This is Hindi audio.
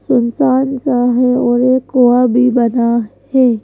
सुनसान सा है और एक कुआ भी बना है।